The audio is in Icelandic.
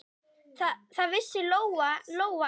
Það vissi Lóa-Lóa ekki heldur.